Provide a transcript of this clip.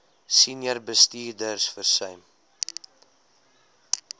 senior bestuurders versuim